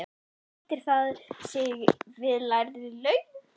Sættir það sig við lægri laun?